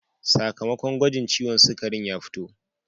Sakamakon gwagin ciwon sugarin ya fito.